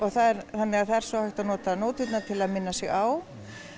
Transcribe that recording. þannig það er svo hægt að nota nóturnar til að minna sig á